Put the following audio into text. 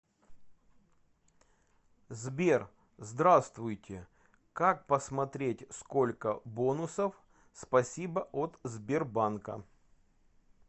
сбер здравствуйте как посмотреть сколько бонусов спасибо от сбербанка